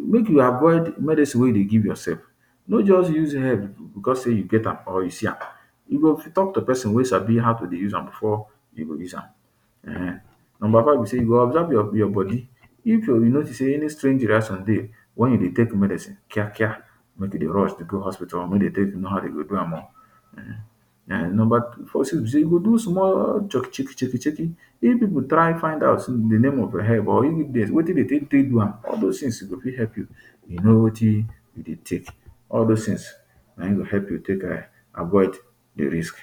make you avoid medicine wey you dey give yourself no just use head because say you see am or you get am, you go talk to pesin wey sabi how to dey use am before you go use am, number five be say you go observe your body if you notice say any strange reaction dey when you dey take medicine kiakia make you dey rush dey go hospital make dey take know how dem go do am o um some pipu dey go do small checky checky if pipu try find out in di name of di herb or wetin dey fit take do am all dose tin go fit help you you know watin you dey take all dose tin na him go help you take avoid di risk